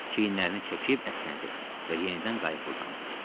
Çiyinlərini çəkib əsnədi və yenidən qayığa uzandı.